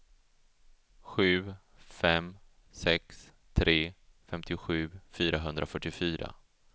sju fem sex tre femtiosju fyrahundrafyrtiofyra